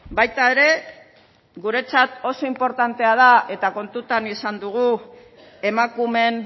baita ere guretzat oso inportantea eta kontutan izan dugu emakumeen